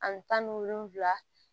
Ani tan ni wolonfila